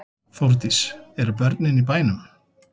Þórdís: Eru börnin í bænum?